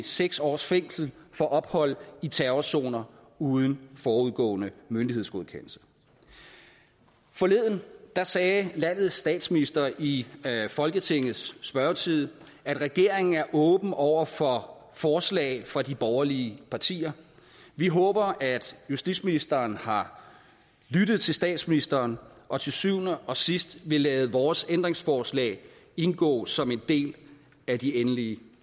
seks års fængsel for ophold i terrorzoner uden forudgående myndighedsgodkendelse forleden sagde landets statsminister i folketingets spørgetid at regeringen er åben over for forslag fra de borgerlige partier vi håber at justitsministeren har lyttet til statsministeren og til syvende og sidst vil lade vores ændringsforslag indgå som en del af de endelige